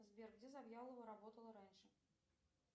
сбер где завьялова работала раньше